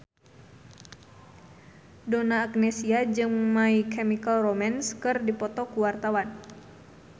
Donna Agnesia jeung My Chemical Romance keur dipoto ku wartawan